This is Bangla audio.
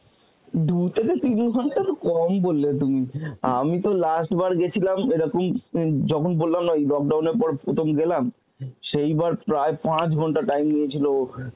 দু থেকে তিন ঘন্টা তো কম বললে তুমি, অমিত last বার গেছিলাম ওরকম উম যখন বললাম না lockdown এর পর প্রথম গেলাম সেইবার প্রায় পাঁচ ঘন্টা time নিয়েছিল.